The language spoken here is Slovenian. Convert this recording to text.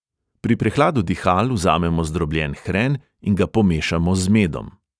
Pri prehladu dihal vzamemo zdrobljen hren in ga pomešamo z medom.